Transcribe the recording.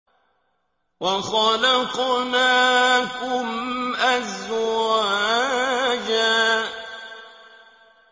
وَخَلَقْنَاكُمْ أَزْوَاجًا